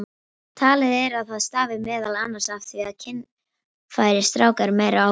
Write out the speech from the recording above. Talið er að það stafi meðal annars af því að kynfæri stráka eru meira áberandi.